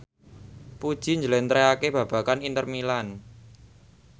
Puji njlentrehake babagan Inter Milan